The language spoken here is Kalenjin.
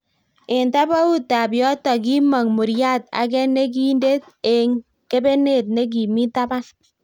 Eng tabaut ab yoto kimong muriat ake nekindet eng kebenet ne kimi taban